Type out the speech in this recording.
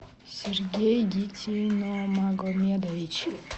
сергей гитиномагомедович